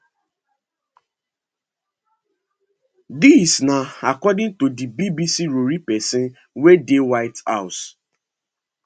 dis na according to di bbc rori pesin wey dey white house